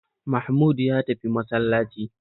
Mahmud ya tafi masallaci